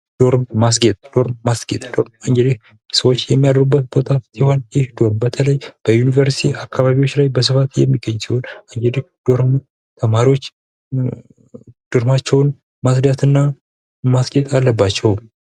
ዶርም ማስጌጥ ዶርም ማስጌጥ ሰዎች የሚያድሩበት ቦታ ሲሆን ይህ ዶርም በተለይ በዩንቨርስቲ አካባቢዎች ላይ በስፋት የሚገኝ ሲሆን እንግዲህ ዶርሙ ተማሪዎች ዶርማቸውን ማፅዳት እና ማስጌጥ አለባቸው::